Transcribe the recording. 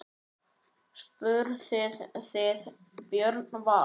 Spurðuð þið Björn Val?